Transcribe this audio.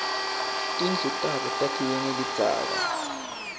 tindlu tabo takhiwe ngelidzaka